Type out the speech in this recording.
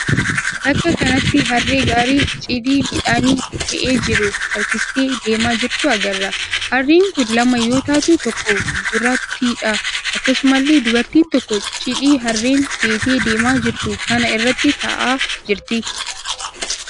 Bakka kanatti harree gaarii cidii midhaanii fe'ee jiru harkistee deemaa jirtu agarra. Harreen kun lama yoo taatu tokko gurraattiidha. Akkasumallee dubartiin tokko cidii harreen feetee deemaa jirtu kana irra taa'aa jirti.